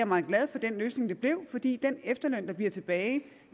meget glad for den løsning det blev fordi den efterløn der bliver tilbage